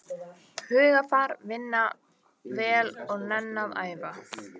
Hugarfar, vinna vel og nenna að æfa.